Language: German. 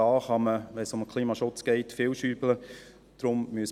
Wenn es um den Klimaschutz geht, kann man hier stark herumschrauben.